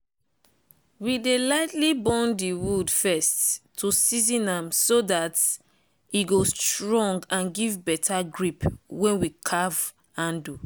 we dey lightly burn de wood first to season am so dat e go strong and give beta grip wen we carve handle.